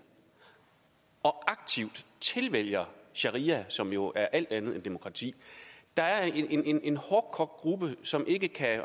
og aktivt tilvælger sharia som jo er alt andet end demokrati der er en en hårdkogt gruppe som ikke